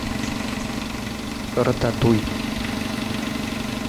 рататуй